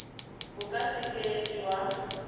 bo ka se keng jwa